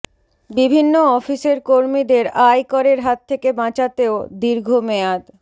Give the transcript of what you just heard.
বিভিন্ন অফিসের কর্মীদের আয় করের হাত থেকে বাঁচাতে ও দীর্ঘ মেয়াদ